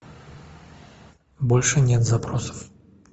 больше нет запросов